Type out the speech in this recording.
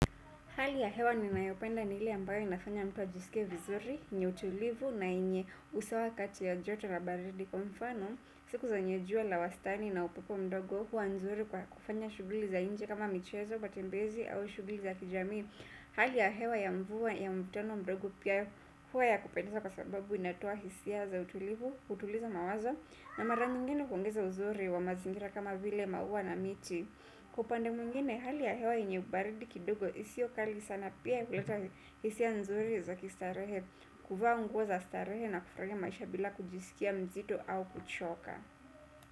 Hali ya hewa ninayopenda ni ile ambayo inafanya mtu ajisikie vizuri, yenye utulivu na yenye usawa kati ya jota la baridi kwa mfano. Siku zenye jua la wastani na upepo mdogo huwa nzuri kwa kufanya shughuli za nje kama michezo matembezi au shughuli za kijamii. Hali ya hewa ya mvua ya mvutano mdogo pia huwa ya kupendaza kwa sababu inatoa hisia za utulivu, hutuliza mawazo na mara nyingine huongeza uzuri wa mazingira kama vile maua na miti. Kwa upande mwingine hali ya hewa yenye ubaridi kidogo isiyo kali sana pia huleta hisia nzuri za kistarehe. Kuvaa nguo za starehe na kufurahia maisha bila kujisikia mzito au kuchoka.